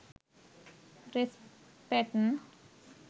dress patten